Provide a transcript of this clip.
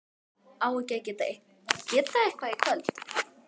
á ekki að geta eitthvað í kvöld?